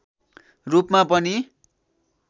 रूपमा पनि